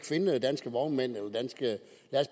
finde danske vognmænd